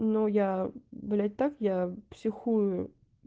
ну я блять так я психую